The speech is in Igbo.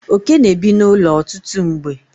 oke na-ebi n'ụlọ ọtụtụ mgbe